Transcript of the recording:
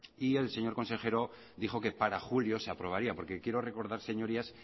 y el señor consejero dijo que para julio se aprobaría porque quiero recordar señorías